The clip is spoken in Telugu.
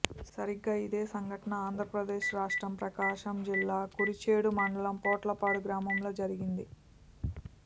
సరిగ్గా ఇదే సంఘటన ఆంధ్రప్రదేశ్ రాష్ట్రం ప్రకాశం జిల్లా కురిచేడు మండలం పొట్లపాడు గ్రామంలో జరిగింది